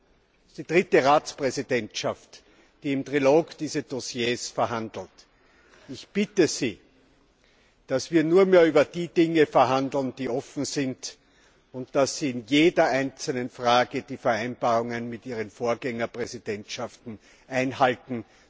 4. Dies ist die dritte Ratspräsidentschaft, die im Trilog diese Dossiers verhandelt. Ich bitte Sie, dass wir nur mehr über die Dinge verhandeln, die offen sind, und dass Sie in jeder einzelnen Frage die Vereinbarungen mit ihren Vorgängerpräsidentschaften einhalten.